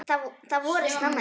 Það voraði snemma.